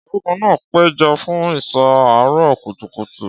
Ọ̀gágun náà péjọ fún ìṣọ́ àárọ̀ kùtùkùtù.